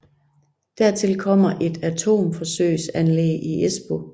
Dertil kommer et atomforsøgsanlæg i Espoo